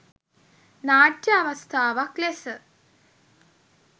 නාට්‍ය අවස්ථාවක් ලෙස